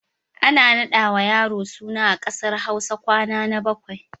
Ana raɗawa yaro suna a ƙasar Hausa kwana na bakwai.